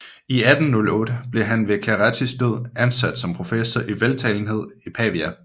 I 1808 blev han ved Cerrettis død ansat som professor i veltalenhed i Pavia